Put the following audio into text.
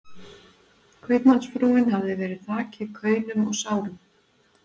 Kaupmannsfrúin hafði verið þakin kaunum og sárum